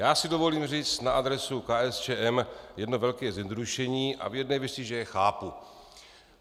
Já si dovolím říct na adresu KSČM jedno velké zjednodušení a v jedné věci, že je chápu.